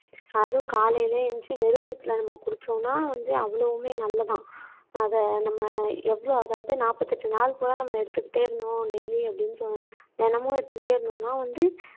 அதுவும் காலையிலயே எந்திரிச்சு வெறும் வயித்துல நம்ம குடிச்சோம்ன்னா வந்து அவ்வளவுமே நல்லதாம். அத நம்ம எவ்ளோ அதாவது நாற்பத்து எட்டு நாள் பூரா நம்ம எடுத்துக்கிட்டே இருந்தோம் டெய்லி அப்படின்னு தொ தினமும் எடுத்துக்கிட்டே இருந்தோம்ன்னா வந்து